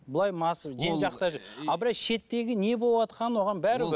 ал былай шеттегі не болып жатқаны оған бәрібір